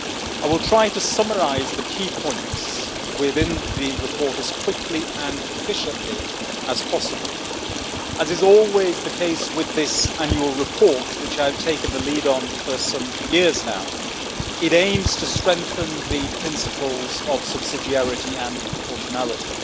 I will try to summarise the key points within the report as quickly and efficiently as possible. As is always the case with this annual report, which I have taken the lead on for some years now, it aims to strengthen the principles of subsidiarity and proportionality.